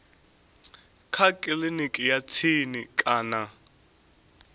kha kiliniki ya tsini kana